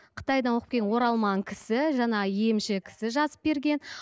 қытайдан оқып келген оралман кісі жаңа емші кісі жазып берген